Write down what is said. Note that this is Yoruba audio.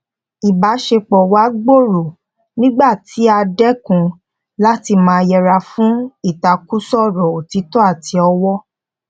ìbáṣepọ wa gbòòrò nígbà tí a dẹkun láti máa yẹra fún ìtàkùrọsọ òtítọ àti ọwọ